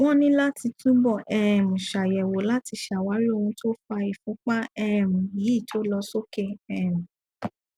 wọn ní láti túbọ um ṣàyẹwò láti ṣàwárí ohun tó fa ìfúnpa um yí to lọ sókè um